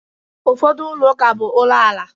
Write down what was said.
Ụfọdụ ụlọ ụka bụ ụlọ ala.